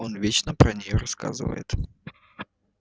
он вечно про нее рассказывает